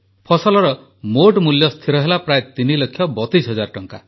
ଫସଲର ମୋଟ ମୂଲ୍ୟ ସ୍ଥିର ହେଲା ପ୍ରାୟ ତିନି ଲକ୍ଷ ବତିଶ ହଜାର ଟଙ୍କା